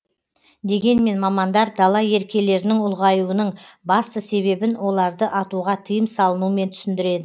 дегенмен мамандар дала еркелерінің ұлғаюының басты себебін оларды атуға тыйым салынумен түсіндіреді